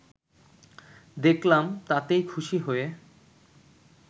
দেখলাম তাতেই খুশি হয়ে